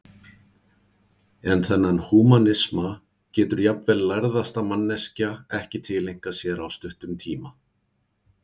En þennan húmanisma getur jafnvel lærðasta manneskja ekki tileinkað sér á stuttum tíma.